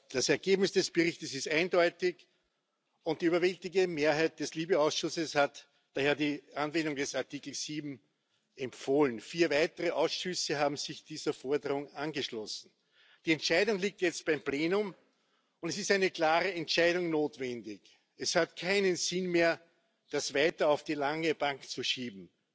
Das Ergebnis des Berichtes ist eindeutig, und die überwältigende Mehrheit des LIBE Ausschusses hat daher die Anwendung des Artikels 7 empfohlen. Vier weitere Ausschüsse haben sich dieser Forderung angeschlossen. Die Entscheidung liegt jetzt beim Plenum, und es ist eine klare Entscheidung notwendig. Es hat keinen Sinn mehr, das weiter auf die lange Bank zu schieben.